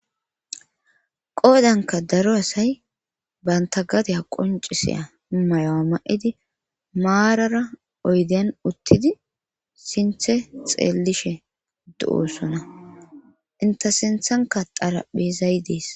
qoodanka daro asay banta gadeya qoncisiya mayoa ma7idi maarara oyden uttidi sinthe xeellishe do7oossona inta sinthanka daraphizay dees